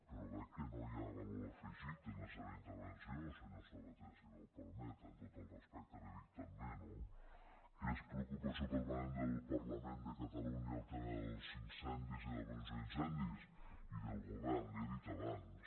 però veig que no hi ha valor afegit en la seva intervenció senyor sabaté si m’ho permet amb tot el respecte li ho dic també no que és preocupació permanent del parlament de catalunya el tema dels incendis i de la prevenció d’incendis i del govern li ho he dit abans